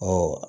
Ɔ